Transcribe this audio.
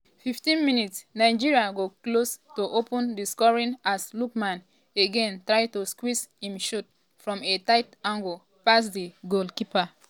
15 mins - nigeria go close to open di scoring as lookman again try to squeeze im shot from a tight angle past di goalkeeper.